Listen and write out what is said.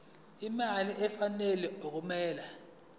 imali efanele okumele